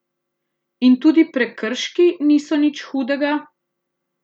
In tudi prekrški niso nič hudega?